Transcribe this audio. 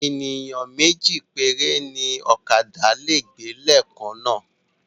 Ènìyàn méjì péré ni ókàdá lè gbé leè kan náà